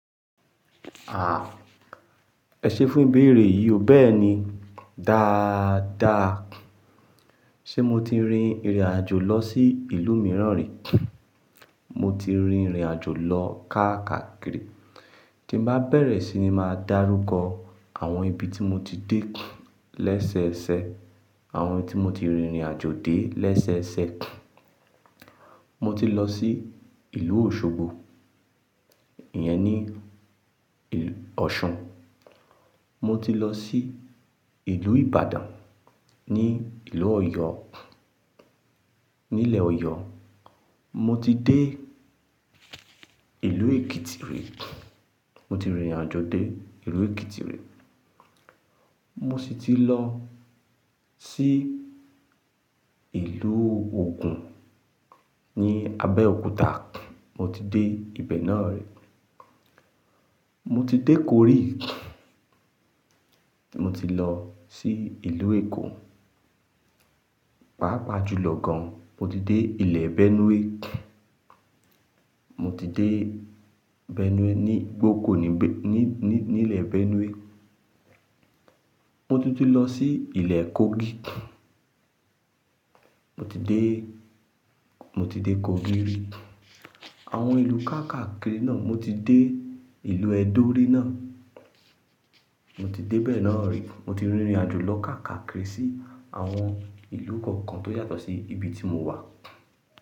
À, ẹ̀ṣẹ fún ìbéèrè yìí o. Bẹ́ẹ̀ni, dáadáa. Ṣé mo ti rin ìrìnàjò lọ sí ìlú mìíràn rí? Mo ti rin ìrìnàjò lọ káàkiri. Tí n bá bẹ̀rẹ̀ síi ní máa dárúkọ àwọn ibi tí mo ti dé lẹ́sẹẹsẹ, àwọn tí mo ti rin ìrìnàjò dé lẹ́sẹẹsẹ. Mo ti lọ sí ìlú Òṣogbo, ìyẹn ní il- Ọ̀ṣun. Mo ti lọ sí ìlú Ìbàdàn ní ìlú Ọ̀yọ́, nílẹ̀ Ọ̀yọ́. Mo ti dé ìlú Èkìtì rí. Mo ti rìnrìnàjò dé ìlú Èkìtì rí. Mo sì ti lọ sí ìlú Ogun ní Abẹ́òkúta. Mo ti dé ibẹ̀ náà rí. Mo ti dé Kori. Mo ti lọ sí ìlú Èkó. Pápa julọ gan, mo ti dé ìlẹ̀ Benue. Mo ti dé Benue ní gBoko ní be- ní, ní, nílẹ̀ Benue. Mo tunti lọ sí ìlẹ̀ Kogi. Mo ti dé, mo ti dé Kogi rí. Àwọn ìlú káàkakiri náà, mo ti dé ìlú Edo rí náà. Mo ti dé bẹ̀ náà rí. Mo ti rìnrìnàjò lọ káàkakiri sí àwọn ìlú kọ̀ọ̀kan tó yàtọ̀ sí ibi tí mo wà.